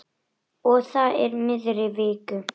Og það í miðri viku.